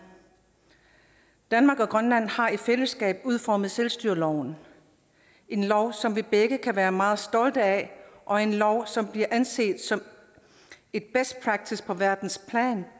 danmark og grønland har i fællesskab udformet selvstyreloven en lov som vi begge kan være meget stolte af og en lov som bliver anset som best practice på verdensplan